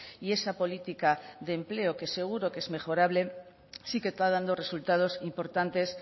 y esa política de empleo que seguro que es mejorable sí que está dando resultados importantes